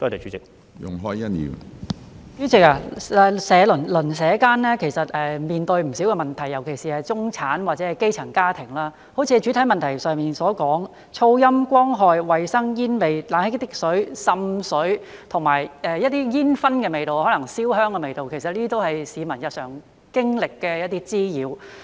主席，鄰舍間其實面對不少問題，尤其是中產或者基層家庭，正如主體質詢所說，噪音、光害、衞生、煙味、冷氣機滴水、滲水和煙燻或燒香的味道，這些都是市民日常經歷的一些滋擾。